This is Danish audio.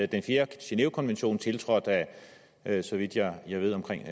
den fjerde genèvekonvention er tiltrådt af så vidt jeg ved omkring